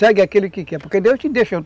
Segue aquele que quer, porque Deus deixou.